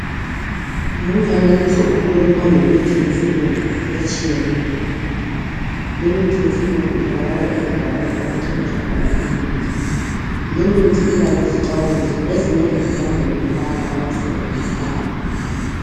Lumfanekiso ukhuluma ngemithi yesilungu etshiyeneyo. Limithi yesilungu itholakala endaweni lapho okuthengiswa khona imithi. Limithi iba lezixwayiso, ezimele zilandelwe yilabo abayisebenzisayo.